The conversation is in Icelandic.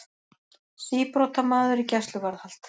Síbrotamaður í gæsluvarðhald